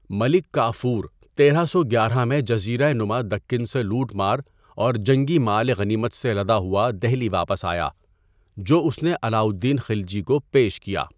ملک کافور تیرہ سو گیارہ میں جزیرہ نما دکن سے لوٹ مار اور جنگی مال غنیمت سے لدا ہوا دہلی واپس آیا جو اس نے علاؤالدین خلجی کو پیش کیا۔